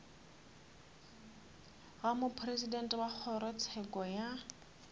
ga mopresidente wa kgorotsheko ya